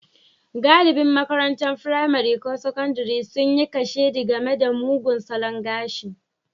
Galibin makarantun firamare ko sakandare sun yi kashedi game da mugun salon gashi.